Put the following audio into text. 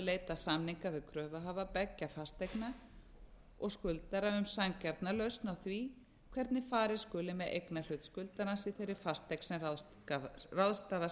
leita samninga við kröfuhafa beggja fasteigna og skuldarann um sanngjarna lausn á því hvernig farið skuli með eignarhlut skuldarans í þeirri fasteign sm ráðstafa